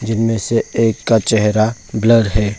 जिनमें से एक का चेहरा ब्लर है।